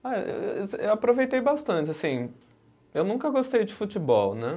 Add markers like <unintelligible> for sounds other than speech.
Ah, eu <unintelligible> eu aproveitei bastante, assim, eu nunca gostei de futebol, né?